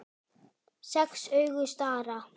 Sex augu stara.